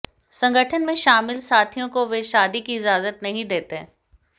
संगठन में शामिल साथियों को वे शादी की इजाजत नहीं देते